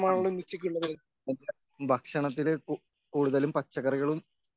ഭക്ഷണത്തില് കൂടുതലും പച്ചക്കറികളും